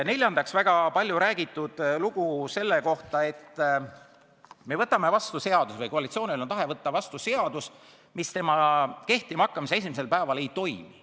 Neljandaks, väga palju räägitud lugu selle kohta, et me võtame vastu seaduse või et koalitsioonil on tahe võtta vastu seadus, mis selle kehtima hakkamise esimesel päeval ei toimi.